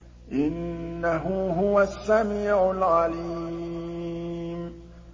إِنَّهُ هُوَ السَّمِيعُ الْعَلِيمُ